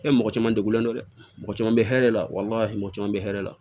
E mɔgɔ caman degulen don dɛ mɔgɔ caman bɛ hɛrɛ la walima mɔgɔ caman bɛ hɛrɛ la